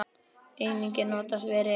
Einnig er notast við reknet.